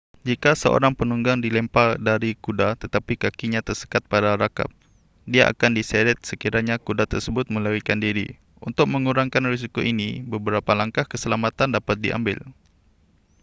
jika seorang penunggang dilempar dari kuda tetapi kakinya tersekat pada rakap dia akan diseret sekiranya kuda tersebut melarikan diri untuk mengurangkan risiko ini beberapa langkah keselamatan dapat diambil